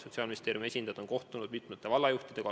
Sotsiaalministeeriumi esindajad on kohtunud mitmete vallajuhtidega.